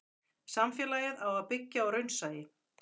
samfélagið á að byggja á raunsæi